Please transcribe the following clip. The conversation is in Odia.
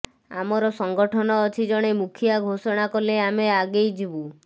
ଆମର ସଂଗଠନ ଅଛି ଜଣେ ମୁଖିଆ ଘୋଷଣା କଲେ ଆମେ ଆଗେଇ ଯିବୁ